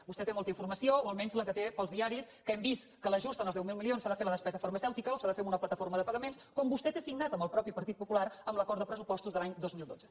vostè té molta informació o almenys la que té pels diaris que hem vist que l’ajust en els deu mil milions s’ha de fer a la despesa farmacèutica o s’ha de fer amb una plataforma de pagaments com vostè té signat amb el mateix partit popular en l’acord de pressupostos de l’any dos mil dotze